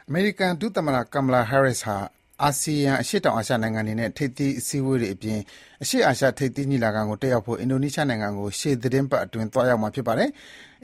အမေရိကန် ဒုသမ္မတ Kamala Harris ဟာ အာဆီယံ အရှေ့တောင်အာရှ နိုင်ငံတွေနဲ့ ထိပ်သီး အစည်းအဝေးအပြင် အရှေ့အာရှ ထိပ်သီး ညီလာခံကို တက်ရောက်ဖို့ အင်ဒိုနီးရှားနိုင်ငံကို ရှေ့သီတင်းပတ်အတွင်း သွားရောက်မှာ ဖြစ်ပါတယ်။